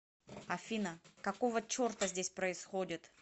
афина какого черта здесь происходит